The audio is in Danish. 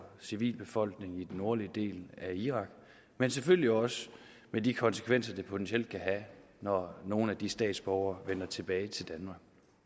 civilbefolkningen i den nordlige del af irak men selvfølgelig også med de konsekvenser det potentielt kan have når nogle af de statsborgere vender tilbage til danmark